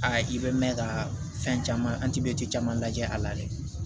i bɛ mɛn ka fɛn caman caman lajɛ a la dɛ